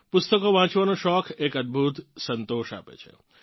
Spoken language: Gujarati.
પુસ્તકો વાંચવાનો શોખ એક અદભુત સંતોષ આપે છે